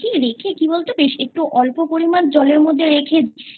রেখে কি বলতো বেশ একটু অল্প পরিমান জলের মধ্যে রেখে দিয়ে